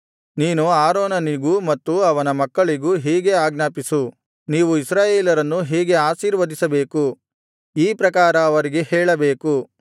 ನೀನು ಆರೋನನಿಗೂ ಮತ್ತು ಅವನ ಮಕ್ಕಳಿಗೂ ಹೀಗೆ ಆಜ್ಞಾಪಿಸು ನೀವು ಇಸ್ರಾಯೇಲರನ್ನು ಹೀಗೆ ಆಶೀರ್ವದಿಸಬೇಕು ಈ ಪ್ರಕಾರ ಅವರಿಗೆ ಹೇಳಬೇಕು